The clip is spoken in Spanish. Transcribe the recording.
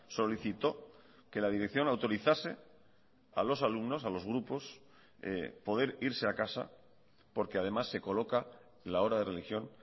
solicitó que la dirección autorizase a los alumnos a los grupos poder irse a casa porque además se coloca la hora de religión